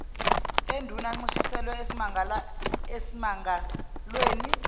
enduna ancishiselwe esimangalweni